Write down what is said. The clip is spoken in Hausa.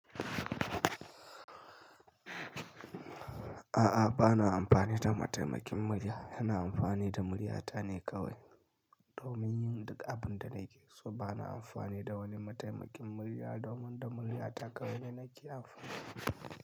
A'a, ba na amfani da mataimakin murya, yana amfani da murya ta ne kawai domin yin duk abin da nakeso. So ba na amfani da wani mataimakin murya domin da murya ta kawai ne nake amfani.